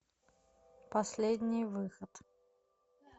последний выход